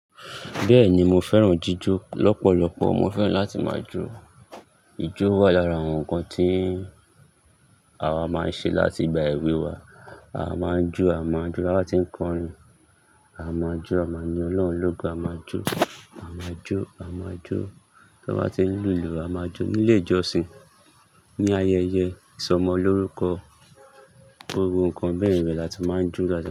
Bẹ́ẹ̀ni mo fẹ́ràn jíjó lọ́pọ̀lọpọ̀, mo fẹ́ràn láti máa jó. Ijó wà lára àwọn nǹkan tí àwa máa ń ṣe láti gba èwe wá. Àwa máa ń jó, àwa máa ń jó bá ti ń kọrin, à máa n jó, a maa yin Ọlọ́run lógo, a máa n jó, à máa n jó, à máa n jó tí won bá ti ń lùlù, à máa n jó nílé ìjọsìn, ní ayẹyẹ ìsọmọlórúkọ, gbogbo nǹkan bẹ́ẹ̀ yen láti máa jó láti.